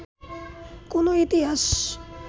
কোনো ইতিহাস